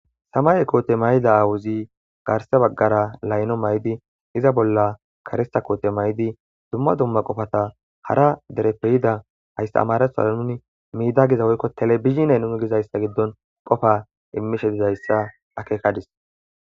Samaye Koote mayida aawuzi garse baggara layno maydi iza bolla karista koote may7idi dumma dumma qofata hara dere Pe yida hayssa amaratho nuni miida giza woykko telebizinay nune gizayssa giddon qofa immishe dizayssa akeekadis.